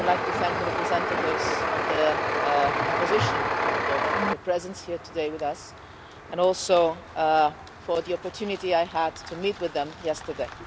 I would like to thank the representatives of the opposition in Moldova for their presence here with us today, and also for the opportunity I had to meet with them yesterday.